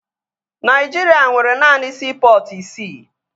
Naịjirịa nwere naanị siipọtụ isii